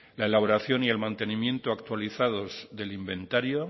la elaboración y el mantenimiento actualizados del inventario